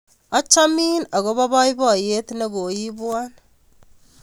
Achamin akopo poipoiyet ne koiipwon.